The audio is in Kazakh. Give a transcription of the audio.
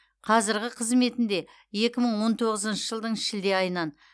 қазіргі қызметінде екі мың он тоғызыншы жылдың шілде айынан